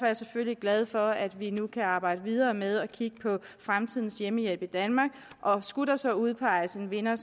jeg selvfølgelig glad for at vi nu kan arbejde videre med at kigge på fremtidens hjemmehjælp i danmark og skulle der så udpeges en vinder